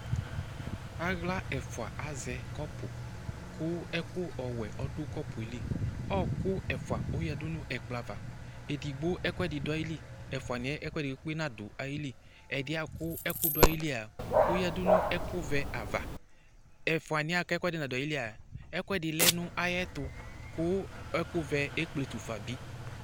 Aɣla ɛfʋa azɛ kɔpʋ ,kʋ ɛkʋ ɔwɛ ɔdʋ kɔpʋɛ li ,ɔɔkʋ ɛfʋaoyǝdu nʋ ɛkplɔ ava : edigbo ɛkʋɛfɩ dʋ ayili ,ɛfʋanɩɛ ɛkʋɛdɩ kpekpe nadʋ ayili ;ɛdɩɛa kʋ ɛkʋ dʋ ayilia ,oyǝdu n'ɛkʋvɛ ava Ɛfʋznɩɛ k'ɛkʋɛdɩ nadʋ aauilia ,ɛkʋɛdɩ lǝ n'ayɛtʋ kʋ ɛkʋvɛ ekpletu fa bɩ